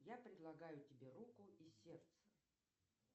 я предлагаю тебе руку и сердце